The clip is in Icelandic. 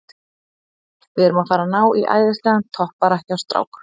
Við erum að fara að ná í æðislegan toppara hjá strák